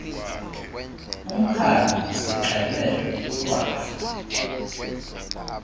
umkhanyo sixele ikhwahla